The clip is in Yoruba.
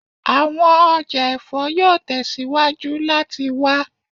Awọn ọja ẹfọ yoo tẹsiwaju lati wa